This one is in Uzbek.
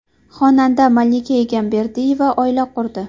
Xonanda Malika Egamberdiyeva oila qurdi.